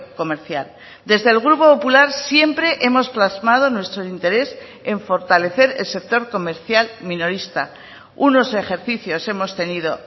comercial desde el grupo popular siempre hemos plasmado nuestro interés en fortalecer el sector comercial minorista unos ejercicios hemos tenido